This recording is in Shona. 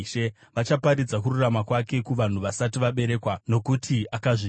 Vachaparidza kururama kwake kuvanhu vasati vaberekwa, nokuti akazviita.